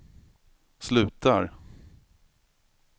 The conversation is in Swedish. slutar